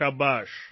શાબાશ